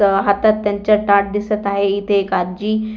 हातात त्यांच्या ताट दिसत आहे इथे एक आजी--